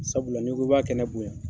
Sabula n'i ko i b'a kɛnɛ bonya.